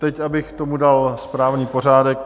Teď abych tomu dal správný pořádek.